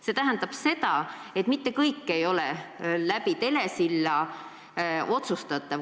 See tähendab seda, et mitte kõiki teenuseid ei saa osutada telesilla kaudu.